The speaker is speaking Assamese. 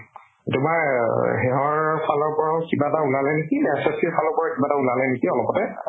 তোমাৰ সেহৰ ফালৰ পৰাও কিবা এটা ওলালে নেকি SSC ৰ ফালৰ পৰাও কিবা এটা ওলালে নেকি অলপতে